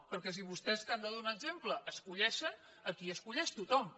perquè si vostès que han de donar exemple escullen aquí escull tothom